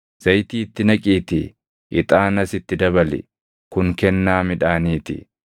Zayitii itti naqiitii ixaanas itti dabali; kun kennaa midhaanii ti.